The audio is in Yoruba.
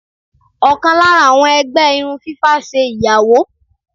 Òkàn lára àwọn ẹgbẹ́ irun fífá ṣe ìyàwó.